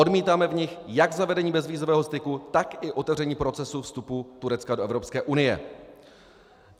Odmítáme v ní jak zavedení bezvízového styku, tak i otevření procesu vstupu Turecka do Evropské unie.